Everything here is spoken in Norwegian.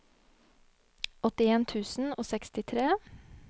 åttien tusen og sekstitre